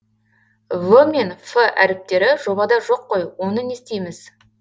в мен ф әріптері жобада жоқ қой оны не істейміз